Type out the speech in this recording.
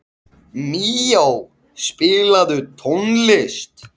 Míó, spilaðu tónlist.